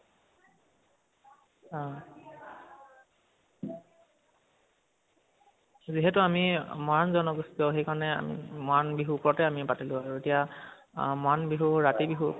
অ যিহেতু আমি মৰাণ জনগোষ্ঠীৰ আভিহনে মৰাণ বিহুৰ উপৰতে আমি পাতিলো আৰু এতিয়া অহ মৰাণ বিহু ৰাতি বিহু